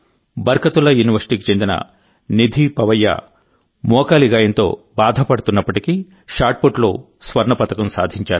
బర్కతుల్లా యూనివర్సిటీకి చెందిన నిధి పవయ్య మోకాలి గాయంతో బాధపడుతున్నప్పటికీ షాట్పుట్లో స్వర్ణ పతకం సాధించారు